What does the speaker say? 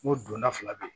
N ko donna fila de don